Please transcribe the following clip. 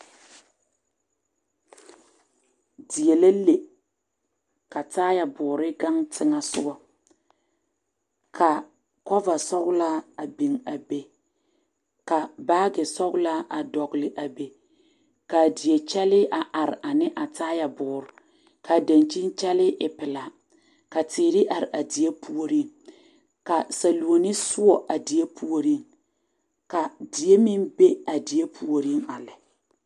Die la le ka taayɛboore ɡaŋ teŋɛ soɡa ka kɔvasɔɡelaa a biŋ a be ka baaɡesɔɡelaa a dɔɡele a be ka a die kyɛllɛɛ a are ne a taayɛboore ka a daŋkyini kyɛllɛɛ e pelaa teere are a die puoriŋ ka saluoni soɔ a die puoriŋ ka die meŋ be a die puoriŋ a lɛ.